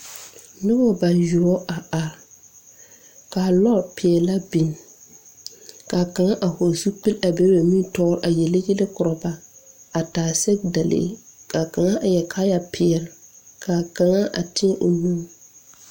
Nobɔ yuoɔ a are kaa lɔ peɛlaa biŋ kaa kaŋa a hɔɔle zupil a be ba nimitoore a yele yɛlɛ korɔ ba a taa sɛgedalee ka kaŋa eŋ kaayɛ peɛle kaa kaŋa a teɛ o nu.